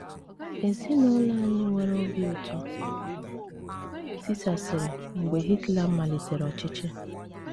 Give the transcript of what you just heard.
Ezinụlọ anyị nwere obi ụtọ tisasịrị mgbe Hitler malitere ọchịchị